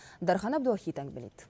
дархан әбдуахит әңгімелейді